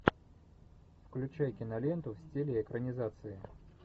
включай киноленту в стиле экранизации